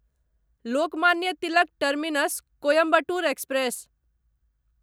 Lokmanya Tilak terminus Coimbatore express